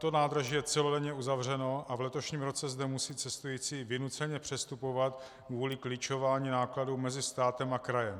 To nádraží je celodenně uzavřeno a v letošním roce zde musí cestující vynuceně přestupovat kvůli klíčování nákladů mezi státem a krajem.